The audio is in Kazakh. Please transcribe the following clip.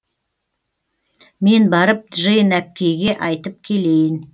мен барып джейн әпкейге айтып келейін